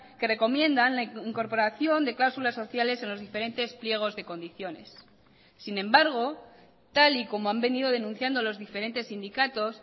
que recomiendan la incorporación de cláusulas sociales en los diferentes pliegos de condiciones sin embargo tal y como han venido denunciando los diferentes sindicatos